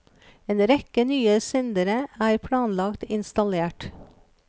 En rekke nye sendere er planlagt innstallert.